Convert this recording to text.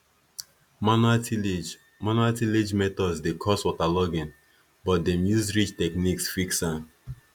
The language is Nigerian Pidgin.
manual tillage manual tillage methods dey cause waterlogging but dem use ridge techniques fix am